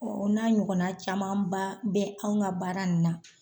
o n'a ɲɔgɔnna camanba bɛ an ga baara in na